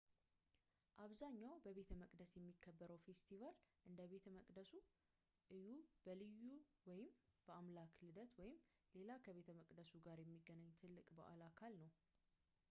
አብዛኛው በቤተመቅደስ የሚከበረው ፌስቲቫል እንደ ቤተ መቅደሱ እዩ በልዩ ወይም የአምላክ ልደት ወይም ሌላ ከቤተ መቅደሱ ጋር የሚገናኝ ትልቅ በዓል አካል ነው